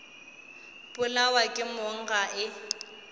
polawa ke mong ga e